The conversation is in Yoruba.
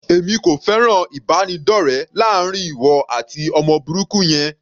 Èmi kò fẹ́ràn ìbánidọ́rẹ láàrin ìwọ àti ọmọ burúkú yẹn.